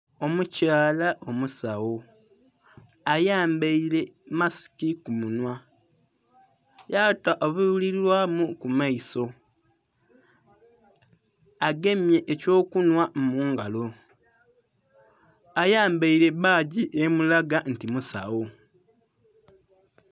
Omukyala omusagho ayambaire masiki ku munhwa yata obulibilwamu ku maiso agemye ekyo kunhwa mungalo ayambaire bbagi emulaga nti musagho.